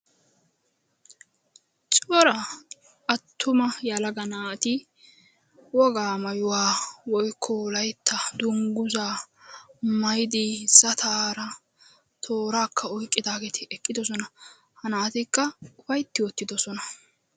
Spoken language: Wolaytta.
cora attuma yelaga naati wogaa maayyuwa woykko wolytta dungguza maayyiddi zataaratooraka oyqqidaageeti eqqidoosona. ha naatikka upaytta uttidoosona.